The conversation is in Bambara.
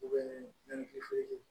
U bɛ ni